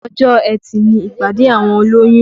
Ọjọ́ etì ni ìpàdé àwọn olóyún